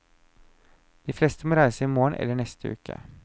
De fleste må reise i morgen eller neste uke.